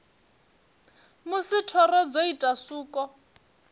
musi thoro dzo ita suko